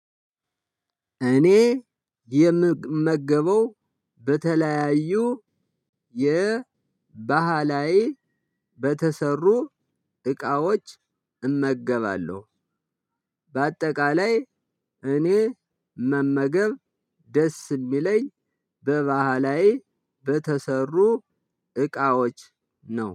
እኔ የምመገበው በተለያዩ የባህላዊ በተሰሩ እቃዎች እመገባለሁ። በአጠቃላይ እኔ መመገብ ደስ የሚለኝ በባህላዊ በተሰሩ እቃዎች ነው